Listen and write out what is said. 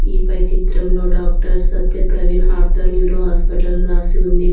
ఈ పై చిత్రంలో doctor Satya Praveen ortho neuro hospital అని రాసి ఉంది.